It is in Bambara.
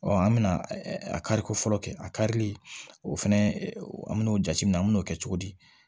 an bɛna a kariko fɔlɔ kɛ a karili o fɛnɛ an bɛ n'o jateminɛ an bɛ n'o kɛ cogo di